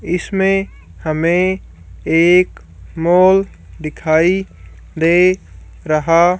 इसमें हमे एक मॉल दिखाई दे रहा--